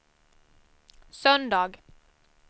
söndag